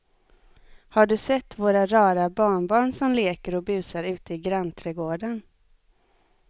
Har du sett våra rara barnbarn som leker och busar ute i grannträdgården!